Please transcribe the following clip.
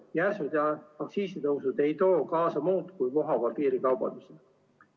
Järsud aktsiisitõusud ei too kaasa muud kui vohava piirikaubanduse.